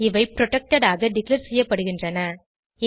இவை புரொடெக்டட் ஆக டிக்ளேர் செய்யப்படுகின்றன